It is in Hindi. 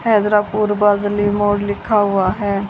हैदरापुर बादली मोड़ लिखा हुआ है।